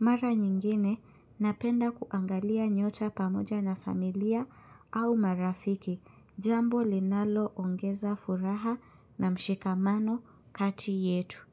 Mara nyingine, napenda kuangalia nyota pamoja na familia au marafiki, jambo linalo ongeza furaha na mshikamano kati yetu.